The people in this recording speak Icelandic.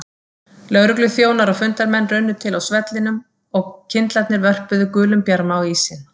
Lögregluþjónar og fundarmenn runnu til á svellinu og kyndlarnir vörpuðu gulum bjarma á ísinn.